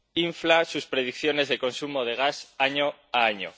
infla sus predicciones de consumo de gas año a año.